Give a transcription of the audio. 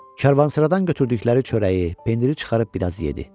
Karvansaradan götürdükləri çörəyi, pendiri çıxarıb bir az yedi.